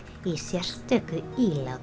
í sérstöku